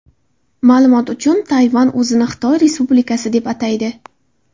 Ma’lumot uchun, Tayvan o‘zini Xitoy Respublikasi deb ataydi.